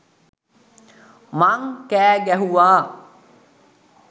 මං කෑ ගැහුවා.